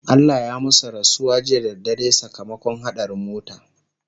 Allah ya masu rasuwa jiya da dare sakamakon haɗarin mota